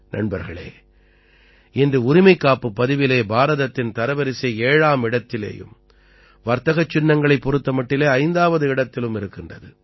நண்பர்களே இன்று உரிமைக்காப்புப் பதிவிலே பாரதத்தின் தரவரிசை 7ஆம் இடத்திலேயும் வர்த்தகச் சின்னங்களைப் பொறுத்த மட்டிலே 5ஆவது இடத்திலும் இருக்கின்றது